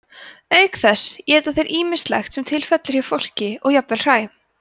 auk þess éta þeir ýmislegt sem til fellur hjá fólki og jafnvel hræ